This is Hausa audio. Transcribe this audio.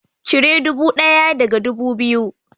Cire ɗubu ɗaya daga ɗubu biyu